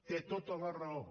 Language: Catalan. té tota la raó